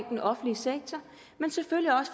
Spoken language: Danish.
den offentlige sektor